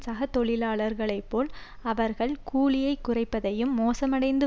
சக தொழிலாளர்களை போல் அவர்கள் கூலியைக் குறைப்பதையும் மோசமடைந்து